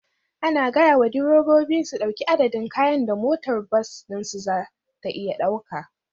Ana gaya wa direbobi su ɗauki adadin kayan da motar bas ɗinsu za ta iya ɗauka